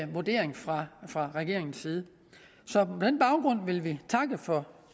vurdering fra fra regeringens side så på den baggrund vil vi takke for